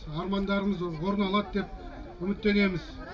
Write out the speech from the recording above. армандарымыз орындалады деп үміттенеміз